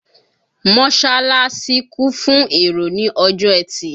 Mọ́ṣálásí kún fún èrò ní ọjọ́ ẹtì.